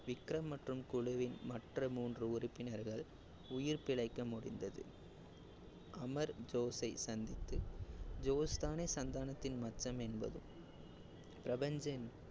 விகரம் மற்றும் குழுவின் மற்ற மூன்று உறுப்பினர்கள் உயிர் பிழைக்க முடிந்தது. அமர் ஜோஸை சந்தித்து ஜோஸ் தானே சந்தானத்தின் என்பது பிரபஞ்சன்